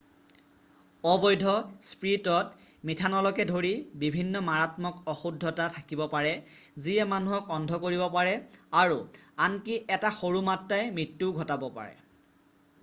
অবৈধ স্পিৰিটত মিঠানলকে ধৰি বিভিন্ন মাৰাত্মক অশুদ্ধতা থাকিব পাৰে যিয়ে মানুহক অন্ধ কৰিব পাৰে আৰু আনকি এটা সৰু মাত্ৰাই মৃত্যুও ঘটাব পাৰে